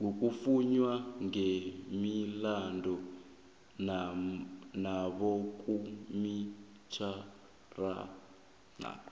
ngokuvunywa kwemilandu nabokomitjhinara